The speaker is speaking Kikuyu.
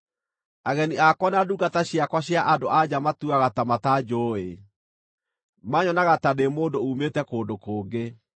Ageni akwa na ndungata ciakwa cia andũ-a-nja matuaga ta matanjũũĩ; maanyonaga ta ndĩ mũndũ uumĩte kũndũ kũngĩ.